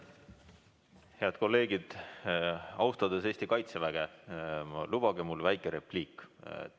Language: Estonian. Head kolleegid, austades Eesti kaitseväge, lubage mul öelda väike repliik.